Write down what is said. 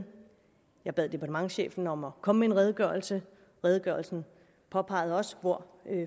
jeg bad departementschefen om at komme med en redegørelse redegørelsen påpegede også hvor